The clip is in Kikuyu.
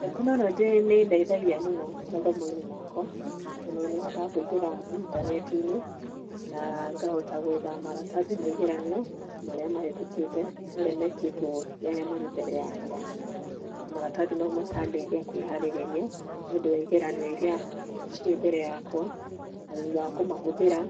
Tekinorojĩ nĩ ĩndeithagia mũno mathomoinĩ makwa tondũ nĩhotaga kũingĩra internetinĩ na ngahota kwetha maratathi ma igeranio marĩa mahĩtũkĩte maria mekĩtio nĩ aria marĩ mbere yakwa na maratathi mau makandeithia kwĩharĩrĩa nĩ ũndũ wa igeranio irĩa cirĩ mbere yakwa na thutha wa kũmahuthĩra